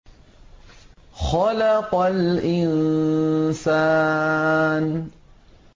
خَلَقَ الْإِنسَانَ